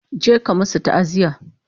je ka masu ta'aziya!